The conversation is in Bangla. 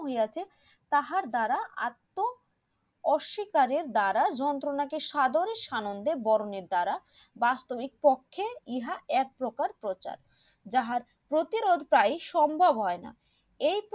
হইয়াছে তাহার দ্বারা আত্ম অস্বীকারের দ্বারা যন্ত্রনা কে সাদান সানন্দে বরণের দ্বারা বাস্তবের পক্ষে ইহা এক প্রকার প্রচার জাহার প্রতিরোধ টাই সম্ভব হয়